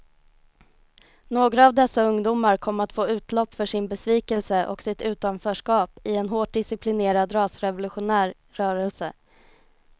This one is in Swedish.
Några av dessa ungdomar kom att få utlopp för sin besvikelse och sitt utanförskap i en hårt disciplinerad rasrevolutionär rörelse.